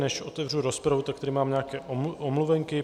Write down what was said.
Než otevřu rozpravu, tak tady mám nějaké omluvenky.